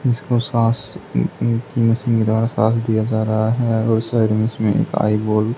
इसको साँस उँ उँ उँ सीधा साँस दिया जा रहा है और उस साइड में इसमें एक आईबॉल --